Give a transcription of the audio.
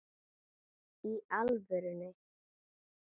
Í alvöru.